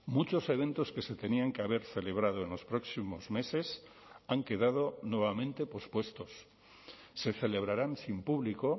muchos eventos que se tenían que haber celebrado en los próximos meses han quedado nuevamente pospuestos se celebrarán sin público